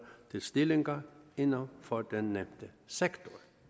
til stillinger inden for den nævnte sektor